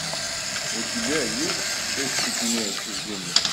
у тебя есть шесть степеней отчуждения